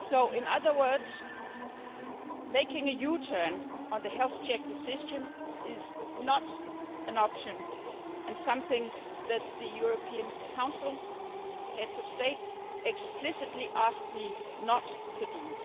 In other words, making a U turn on the health check decision is not an option and something that the European Council, the heads of state, explicitly asked me not to